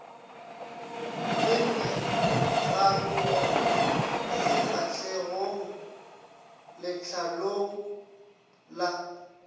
le megarogo sefahlegong letlalong la